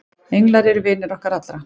englar eru vinir okkar allra